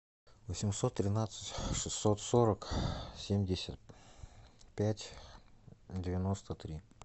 восемьсот тринадцать шестьсот сорок семьдесят пять девяносто три